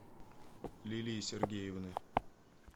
лилии сергеевны